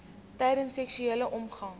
tydens seksuele omgang